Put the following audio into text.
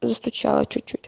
застучала чуть-чуть